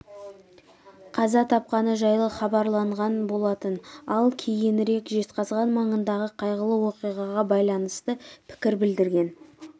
қаза тапқаны жайлы хабарланған болатын ал кейінірек жезқазған маңындағы қайғылы оқиғаға байланысты пікір білдірген